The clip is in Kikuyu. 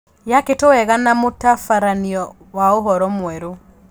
Yakĩtwo wega na mũtabaranio wa ũhoro mwerũ ?